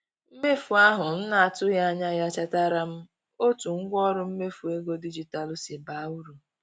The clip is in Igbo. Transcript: Mmefu ahụ na-atụghị anya ya chetaara m otu ngwaọrụ mmefu ego dijitalụ si baa uru.